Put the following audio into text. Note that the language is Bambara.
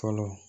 Fɔlɔ